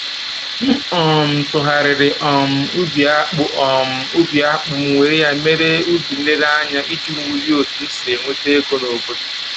M um tụgharịrị um ubi akpụ um ubi akpụ m were ya mere ubi nlereanya iji wulie otu m si enweta ego n'obodo